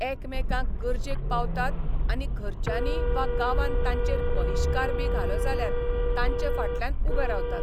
एकामेकांक गरजेक पावतात आनी घरच्यांनी वा गांवान तांचेर बहिश्कारबी घालो जाल्यार तांचे फाटल्यान उबे रावतात.